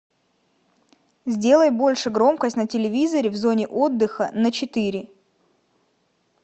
сделай больше громкость на телевизоре в зоне отдыха на четыре